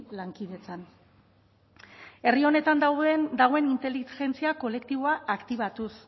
lankidetzan herri honetan dagoen inteligentzia kolektiboa aktibatuz